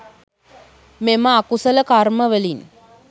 මෙම අකුසල කර්ම වලින්